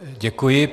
Děkuji.